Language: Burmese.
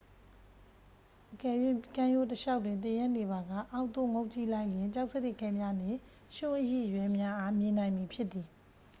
အကယ်၍ ကမ်းရိုးတလျှောက်တွင် သင်ရပ်နေပါက ၊ အောက်သို့ငုံ့ကြည့်လိုက်လျှင် ကျောက်စရစ်ခဲများနှင့် ရွံှ့အရိအရွဲများအား မြင်နိုင်မည်ဖြစ်သည်။